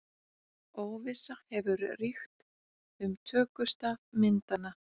Óvissa hefur ríkt um tökustað myndanna